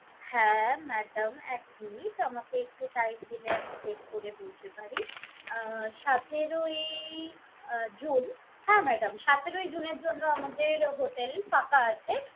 হ্যাঁ madam এক minute আমাকে একটু time দিলে আমি check করে বলতে পারি। অ্যাঁ সতেরোই~ই আহ June হ্যাঁ madam, সতেরোই June এর জন্য আমাদের hotel ফাঁকা আছে।